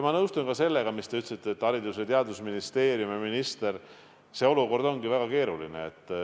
Ma nõustun ka sellega, mis te ütlesite Haridus- ja Teadusministeeriumi ja ministri kohta – see olukord ongi väga keeruline.